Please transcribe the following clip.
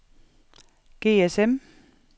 GSM